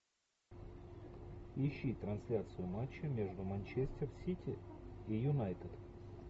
ищи трансляцию матча между манчестер сити и юнайтед